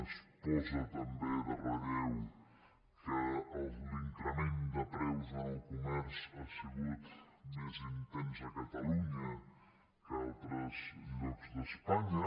es posa també en relleu que l’increment de preus en el comerç ha sigut més intens a catalunya que a altres llocs d’espanya